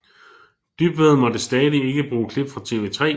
Dybvad måtte stadig ikke bruge klip fra TV3